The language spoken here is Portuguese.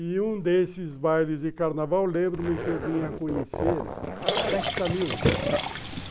E um desses bailes de carnaval, lembro-me que eu vim a conhecer, Dexamil.